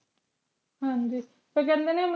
ਹਾਂਜੀ ਤੇ ਕੇਹ੍ਨ੍ਡੇ ਨੇ